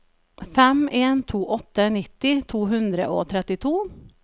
fem en to åtte nitti to hundre og trettito